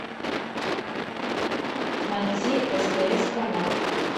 найти стс канал